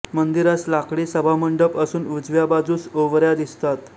मंदिरास लाकडी सभामंडप असून उजव्या बाजूस ओवऱ्या दिसतात